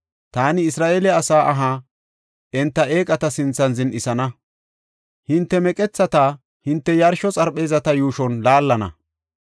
Taani Isra7eele asaa aha enta eeqata sinthan zin7isana; hinte meqethata hinte yarsho xarpheezata yuushon laallana.